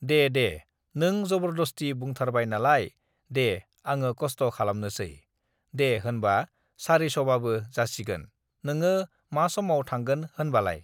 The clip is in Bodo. "दे दे नों जबरदस्ति बुंथारबाय नालाय दे आङो कस्त' खालामनोसै, दे होनबा सारिस'बाबो जासिगोन, नोङो मा समाव थांगोन होनबालाय?"